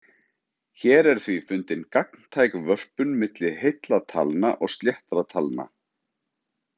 Hér er því fundin gagntæk vörpun milli heilla talna og sléttra talna.